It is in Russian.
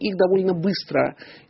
их довольно быстро